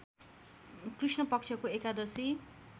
कृष्णपक्षको एकादशी